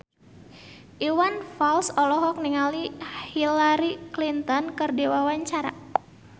Iwan Fals olohok ningali Hillary Clinton keur diwawancara